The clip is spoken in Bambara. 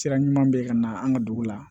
Sira ɲuman bɛ yen ka na an ka dugu la